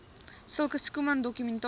sulke schoeman dokumentasie